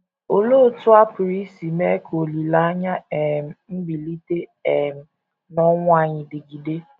Olee otú a pụrụ isi mee ka olileanya um mbilite um n’ọnwụ anyị dịgide?